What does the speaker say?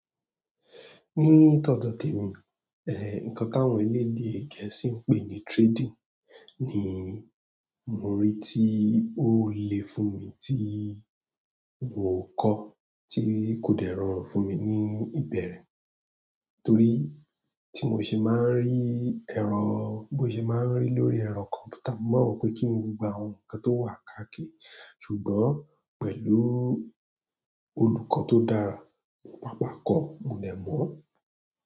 Ní tọ̀dọ́ tèmi, eh, nǹkan tí àwọn orílẹ̀-èdè Gẹ̀ẹ́sì ń pè ní trading ni mo rí tí ó le fún mi tí mo kọ́, tí kò dẹ rọrùn fún mi ní ìbẹ̀rẹ̀ torí tí mò ṣe máa ń rí ẹ̀rọ, bo ṣe máa ń rí lórí ẹ̀rọ kọ̀mpútà, mo ma n wo pé kíni gbogbo àwọn nǹkan tó wà káàkiri ṣùgbọ́n pẹ̀lú olùkọ́ tó dára, pàpà kọ, mo dẹ mọ.